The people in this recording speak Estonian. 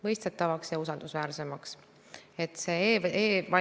Palun juba ette vabandust, kui mõni nüanss jääb kommenteerimata, lihtsalt et aja piiresse ära mahtuda.